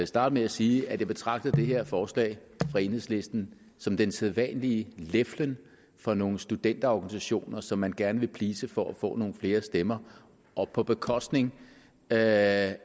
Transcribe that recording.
starte med at sige at jeg betragter det her forslag fra enhedslisten som den sædvanlige leflen for nogle studenterorganisationer som man gerne vil please for at få nogle flere stemmer på bekostning af